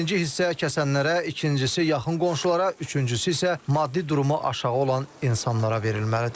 Birinci hissə kəsənlərə, ikincisi yaxın qonşulara, üçüncüsü isə maddi durumu aşağı olan insanlara verilməlidir.